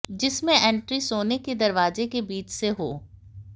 जिसमें एंट्री सोने के दरवाजों के बीच से हो